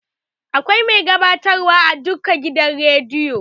Akwai mai gabatarwa a duka gidan rediyo.